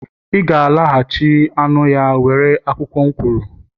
iga-alaghachi anụ ya were akwụkwọ m kwuru!